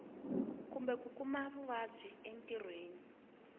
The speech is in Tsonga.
kumbe ku kuma vuvabyi entirhweni